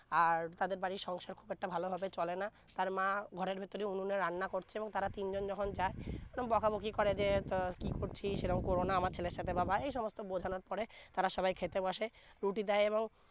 আর তাদের বাড়ির সংসার খুব একটা ভালো ভাবে চলে না তার মা ঘরের ভিতরে উনুনে রান্না করছে তারা তিন জন যখন যায় তখন বোকা বোকি করে যে তো কি করছিস সে কোরো না আমার ছেলের সাথে বাবা এই সমস্থ বোঝানর পরে তারা সবাই খেতে বসে রুটি দেয় এবং